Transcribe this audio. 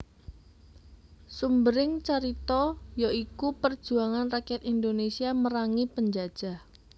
Sumbering carita ya iku perjuangan rakyat Indonesia merangi penjajah